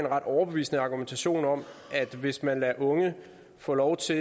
ret overbevisende argumentation om at hvis man lader unge få lov til